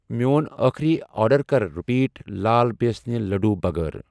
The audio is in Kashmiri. میٚون أخری آرڈر کر رِپیٖٹ لال بیسنہِ لٔڈّوٗ بَغٲر۔